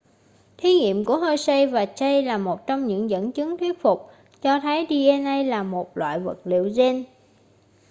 thí nghiệm của hershey và chase là một trong những dẫn chứng thuyết phục cho thấy dna là một loại vật liệu gen